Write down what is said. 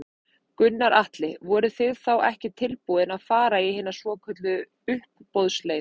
Gunnar Atli: Voruð þið þá ekki tilbúin að fara í hina svokölluðu uppboðsleið?